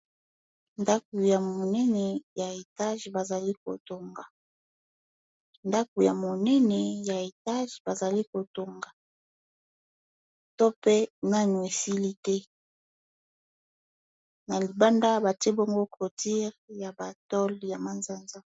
Ndako ya monene ya etage bazali kotonga to pe nani esili te na libanda batie bongo cotire ya batole ya masa-nza.